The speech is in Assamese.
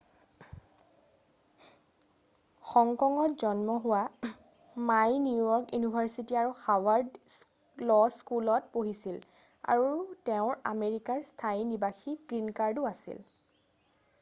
"হং কঙত জন্ম হোৱা মাই নিউ য়ৰ্ক ইউনিভাৰ্চিটি আৰু হাৰ্ভাৰ্ড ল স্কুলত পঢ়িছিল আৰু তেওঁৰ আমেৰিকাৰ স্থায়ী নিবাসীৰ "গ্ৰীণ কাৰ্ড""ও আছিল।""